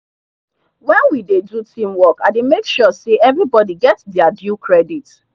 when we dey do teamwork i dey make sure say everybody get their due credit.